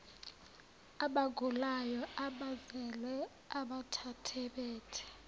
abagulayo abazele abathathabathe